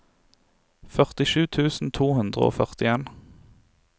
førtisju tusen to hundre og førtien